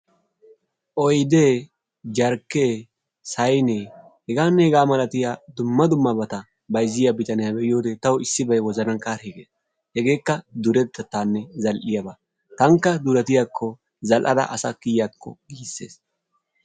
Oydee, jarkkee, saynee hegaanne hegaa malatiya dumma dummabata bayzziya bitaniya be'iyode tawu issibay wozanan karhi gers. Hegeekka duretettaaba zal'iyabaa tankka duretiyakko zal''ada asa kiyakko giisses.